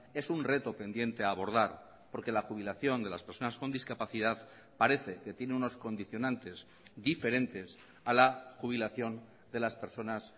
es un reto pendiente a abordar porque la jubilación de las personas con discapacidad parece que tiene unos condicionantes diferentes a la jubilación de las personas